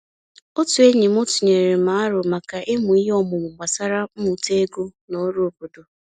Otu enyi m tụnyere m aro maka imụ ihe ọmụmụ gbasara mmụta ego na ọrụ obodo.